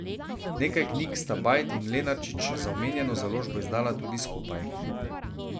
Nekaj knjig sta Bajd in Lenarčič za omenjeno založbo izdala tudi skupaj.